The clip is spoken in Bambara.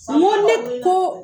n ko ne ko